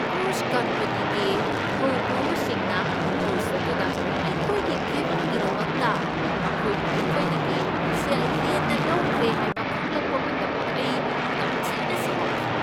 Cruise ꯀꯝꯄꯅꯤꯒꯤ ꯊꯧꯄꯨꯕꯁꯤꯡꯅ cruise ꯑꯗꯨꯗ ꯑꯩꯈꯣꯏꯒꯤ ꯀꯦꯕꯤꯟꯒꯤꯗꯃꯛꯇ ꯃꯈꯣꯏꯅ ꯑꯩꯈꯣꯏꯗꯒꯤ ꯁꯦꯜ ꯍꯦꯟꯅ ꯂꯧꯈ꯭ꯔꯦ ꯍꯥꯏꯕ ꯈꯪꯂꯛꯄ ꯃꯇꯝꯗ ꯑꯩ ꯇꯝꯊꯤꯅ ꯁꯥꯎꯈꯤ꯫